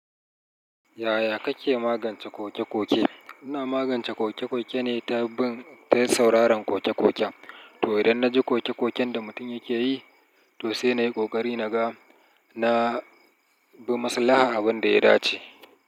Yaya kake magance ƙoke-ƙoke? Ina magance ƙoke-ƙoke ne ta bin ta sauraron ƙoke-ƙoken to idan na ji ƙoke-ƙoken da mutum yake yi, to sai na yi ƙoƙari na ga na bi maslaha abin da ya dace.